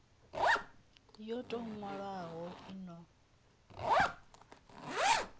yo tou nwalwaho i no